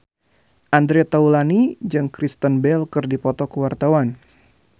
Andre Taulany jeung Kristen Bell keur dipoto ku wartawan